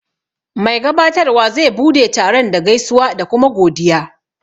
Mai gabatarwa zai bude taron da gaisuwa da kuma godiya.